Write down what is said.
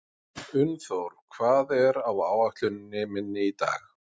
Unnþór, hvað er á áætluninni minni í dag?